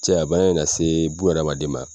Cɛya bana in lase buna adamaden ma,